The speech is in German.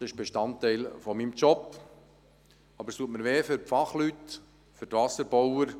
das ist Bestandteil meines Jobs –, aber es tut mir weh für die Fachleute, für die Wasserbauer.